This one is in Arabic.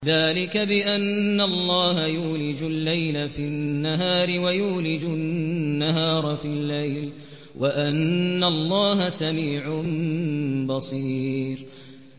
ذَٰلِكَ بِأَنَّ اللَّهَ يُولِجُ اللَّيْلَ فِي النَّهَارِ وَيُولِجُ النَّهَارَ فِي اللَّيْلِ وَأَنَّ اللَّهَ سَمِيعٌ بَصِيرٌ